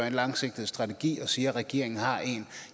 en langsigtet strategi og siger at regeringen har en